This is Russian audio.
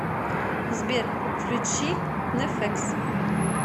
сбер включи неффекс